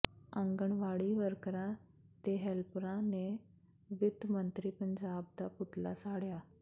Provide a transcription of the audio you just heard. ਆਂਗਣਵਾੜੀ ਵਰਕਰਾਂ ਤੇ ਹੈਲਪਰਾਂ ਨੇ ਵਿੱਤ ਮੰਤਰੀ ਪੰਜਾਬ ਦਾ ਪੁਤਲਾ ਸਾੜਿਆ